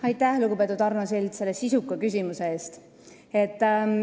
Aitäh, lugupeetud Arno Sild, selle sisuka küsimuse eest!